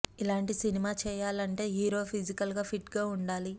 ఇలాంటి సినిమా చేయాలంటే hero physical గా ఫిట్ గా ఉండాలి